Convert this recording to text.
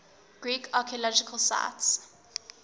greek archaeological sites